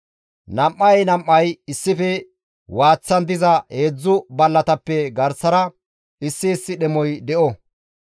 Nam7ay nam7ay issife waaththan diza heedzdzu ballatappe garsara issi issi dhemoy de7o.